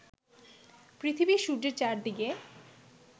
পৃথিবী সূর্যের চারদিকে